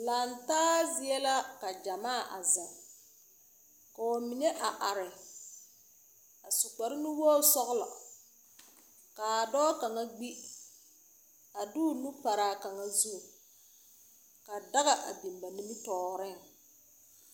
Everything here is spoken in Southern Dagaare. Lantaa zie la ka gyamaa a zeŋ, ka ba mine a are, a su kparre nuwogiri sɔgelɔ, ka a dɔɔ kaŋa a kpi, a de o nu paraa dɔɔ kaŋa zu, ka daga a biŋaa ba nimmitɔɔreŋ.